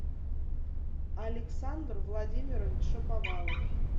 александр владимирович шаповалов